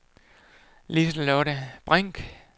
Liselotte Brink